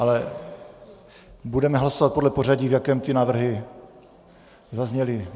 Ale budeme hlasovat podle pořadí, v jakém ty návrhy zazněly.